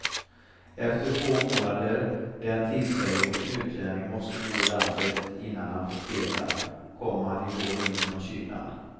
Efter två månader, den tidsperiod en utlänning måste bo i landet innan han får spela, kom han igår in från kylan.